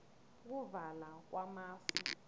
ukuvala kwamafu